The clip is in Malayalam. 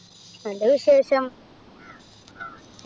നല്ല വിശേഷം